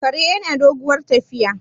kare yana doguwar tafiya